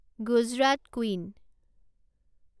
Gujarat queen